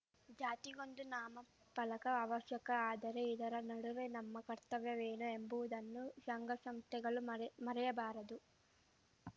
ಜಾತಿಗೊಂದು ನಾಮಫಲಕ ಅವಶ್ಯಕ ಆದರೆ ಇದರ ನಡುವೆ ನಮ್ಮ ಕರ್ತವ್ಯವೇನು ಎಂಬುವುದನ್ನು ಶಂಘ ಶಂಸ್ಥೆಗಳು ಮರೆ ಮರೆಯಬಾರದು